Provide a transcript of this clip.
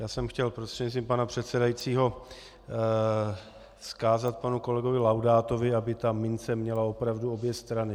Já jsem chtěl prostřednictvím pana předsedajícího vzkázat panu kolegovi Laudátovi, aby ta mince měla opravdu obě strany.